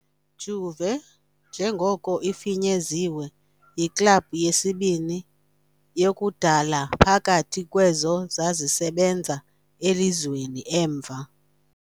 "Juve", njengoko ifinyeziwe, yiklabhu yesibini yakudala phakathi kwezo zisasebenza elizweni, emva